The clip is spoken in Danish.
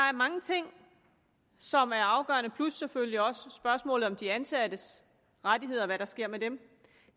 er mange ting som er afgørende plus selvfølgelig også spørgsmålet om de ansattes rettigheder og hvad der sker med dem